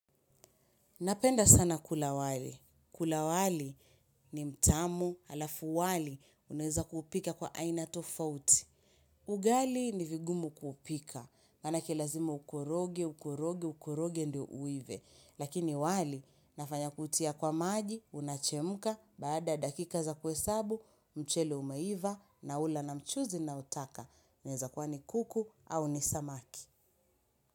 Napenda sana kula wali. Kula wali ni mtamu alafu wali unaweza kupika kwa aina tofauti. Ugali ni vigumu kupika. Manake lazima ukoroge, ukoroge, ukoroge ndio uive. Lakini wali nafanya kutia kwa maji, unachemuka, baada dakika za kuhesabu, mchele umeiva, naula na mchuzi naotaka. Unaweza kuwa ni kuku au ni samaki.